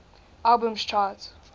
albums chart